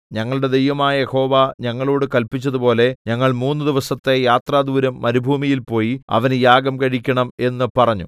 ഞങ്ങളുടെ ദൈവമായ യഹോവ ഞങ്ങളോട് കല്പിച്ചതുപോലെ ഞങ്ങൾ മൂന്ന് ദിവസത്തെ യാത്രാദൂരം മരുഭൂമിയിൽ പോയി അവന് യാഗം കഴിക്കണം എന്ന് പറഞ്ഞു